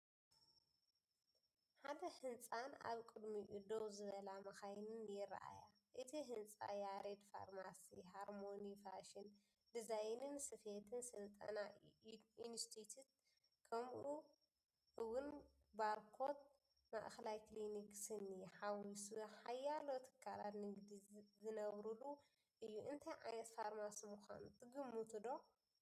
ሓደ ህንጻን ኣብ ቅድሚኡ ደው ዝብላ መካይንን ይረኣያ። እቲ ህንጻ፡ "ያሬድ ፋርማሲ"፡ "ሃርሞኒ ፋሽን ዲዛይንን ስፌትን ስልጠና ኢንስቲትዩት"፡ ከምኡ'ውን "ባርኮት ማእከላይ ክሊኒክ ስኒ" ሓዊሱ ሓያሎ ትካላት ንግዲ ዝነብሩሉ እዩ። እንታይ ዓይነት ፋርማሲ ምዃኑ ትግምቱ ዶ?